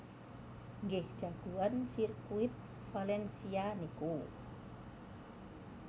Nggih jagoan sirkuit Valencia niku